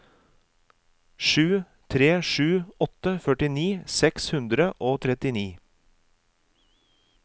sju tre sju åtte førtini seks hundre og trettini